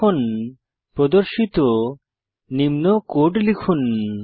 এখন প্রদর্শিত নিম্ন কোড লিখুন